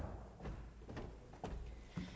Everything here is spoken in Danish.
det